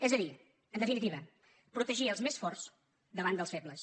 és a dir en defi·nitiva protegir els més forts davant dels febles